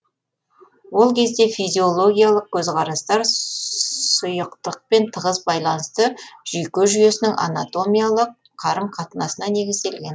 ол кезде физиологиялық көзқарастар сұйықтықпен тығыз байланысты жүйке жүйесінің анатомиялық қарым қатынасына негізделген